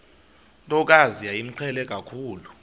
ntokazi yayimqhele kakhulu